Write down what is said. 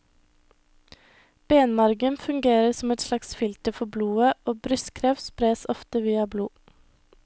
Benmargen fungerer som et slags filter for blodet, og brystkreft spres ofte via blod.